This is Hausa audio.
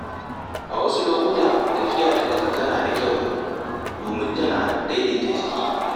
A wasu lokuta, tafiya da ƙafa tana da kyau domin tana daidaita jiki.